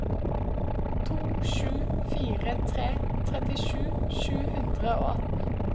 to sju fire tre trettisju sju hundre og atten